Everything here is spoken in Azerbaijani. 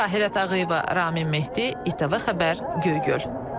Tahirə Ağayeva, Ramin Mehdi, İTV Xəbər, Göygöl.